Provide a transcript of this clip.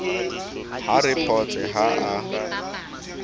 a re photse ha a